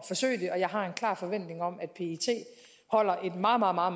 jeg har en klar forventning om at pet holder et meget meget